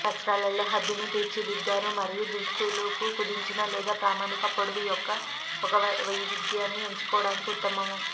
వస్త్రాల్లో హద్దును తీర్చిదిద్దారు మరియు దుస్తులు కు కుదించిన లేదా ప్రామాణిక పొడవు యొక్క ఒక వైవిధ్యాన్ని ఎంచుకోవడానికి ఉత్తమం